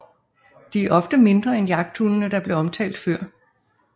De er ofte mindre end jagthundene der blev omtalt før